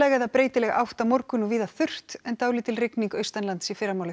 eða breytileg átt á morgun og víða þurrt en dálítil rigning austanlands í fyrramálið